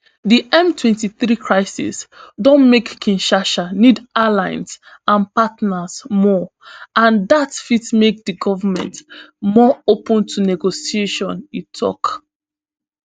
di mtwenty-three crisis don make kinshasa need allies and partners more and dat fit make di goment more open to negotiation e tok